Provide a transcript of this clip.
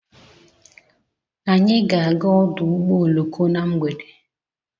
Anyị ga-aga ọdụ ụgbọ oloko na mgbede